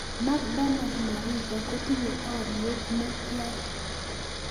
Macdonald Mariga kotinye olyet netian